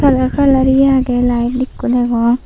aro kalar iye agey laet ikko degong.